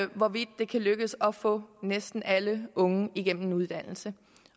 hvorvidt det kan lykkes at få næsten alle unge igennem en uddannelse